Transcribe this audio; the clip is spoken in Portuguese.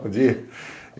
Bom dia!